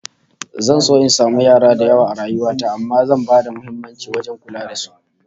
Zan so in samu yara da yawa a rayuwa ta amma zan bada muhimmanci wajen kula da su